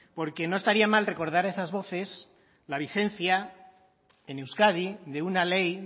porque no estaría mal recordar a esas voces la vigencia en euskadi de una ley